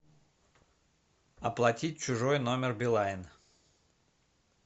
оплатить чужой номер билайн